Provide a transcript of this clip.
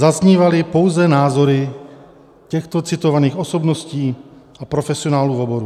Zaznívaly pouze názory těchto citovaných osobností a profesionálů v oboru.